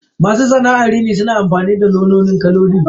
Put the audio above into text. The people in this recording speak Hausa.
Masu sana'ar rini suna amfani da nau'ikan kaloli.